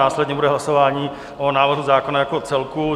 Následně bude hlasování o návrhu zákona jako celku.